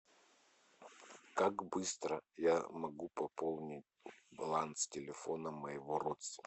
как быстро я могу пополнить баланс телефона моего родственника